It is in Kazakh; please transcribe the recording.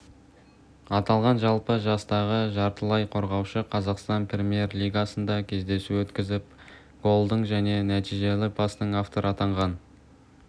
атанған жалпы жастағы жартылай қорғаушы қазақстан премьер-лигасында кездесу өткізіп голдың және нәтижелі пастың авторы атанған